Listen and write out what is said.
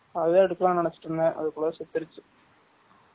அதான் எடுகாலாம் நினைச்சிட்டு இருந்தேன் அதுக்குல்ல சேதுருச்சு